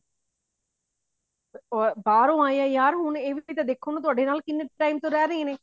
ਬਾਹਰੋਂ ਆਏ ਨੇ ਯਾਰ ਹੁਣ ਇਹ ਵੀ ਦੇਖੋ ਥੋਡੇ ਨਾਲ ਕਿੰਨੇ time ਤੋਂ ਰਿਹ ਰਹੇ ਨੇ